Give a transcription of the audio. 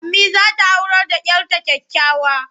Ammi za ta aurar da 'yar ta kyakkyawa.